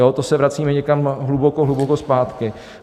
Jo, to se vracíme někam hluboko, hluboko zpátky.